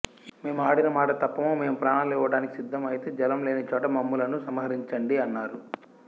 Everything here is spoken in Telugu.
మేము ఆడిన మాట తప్పము మేము ప్రాణాలు ఇవ్వడానికి సిద్ధం అయితే జలం లేని చోట మమ్ములను సంహరించండి అన్నారు